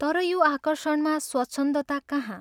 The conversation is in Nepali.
तर यो आकर्षणमा स्वच्छन्दता कहाँ?